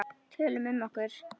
Tölum um okkur.